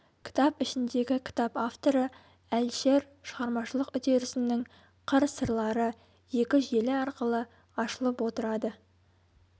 кітап ішіндегі кітап авторы әлішер шығармашылық үдерісінің қыр-сырлары екі желі арқылы ашылып отырады